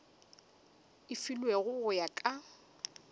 e filwego go ya ka